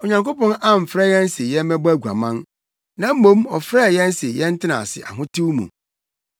Onyankopɔn amfrɛ yɛn se yɛmmɛbɔ aguaman, na mmom ɔfrɛɛ yɛn se yɛntena ase ahotew mu.